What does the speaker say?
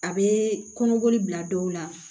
A bɛ kɔnɔboli bila dɔw la